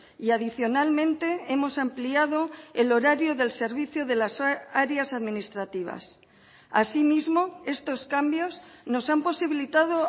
y adicionalmente hemos ampliado el horario del servicio de las áreas administrativas asimismo estos cambios nos han posibilitado